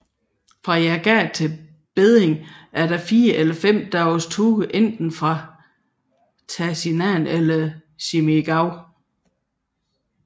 Fra Jagat til Beding er der en fire eller fem dages tur enten via Tasinam eller Simigau